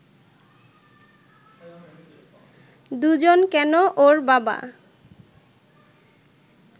দুজন কেন, ওর বাবা